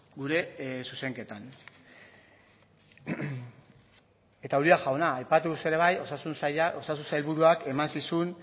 gure zuzenketan eta uria jauna aipatu duzu ere bai osasun sailburuak eman zizun